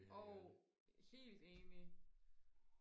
jo helt enig